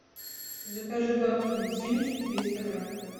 закажи бабкины семечки триста грамм